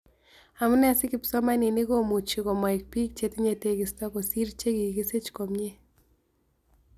Amunee si kipsomaninik komuchi komoik biik chetinye tegisto kosiir che kikisiich komie